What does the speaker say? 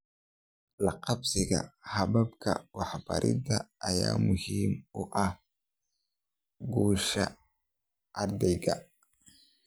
La qabsiga hababka waxbarida ayaa muhiim u ah guusha ardayga.